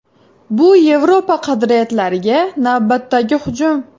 Bu Yevropa qadriyatlariga navbatdagi hujum.